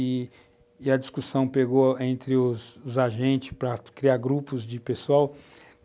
E a discussão pegou entre os agentes para criar grupos de pessoal.